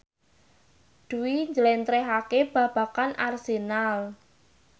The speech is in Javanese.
Dwi njlentrehake babagan Arsenal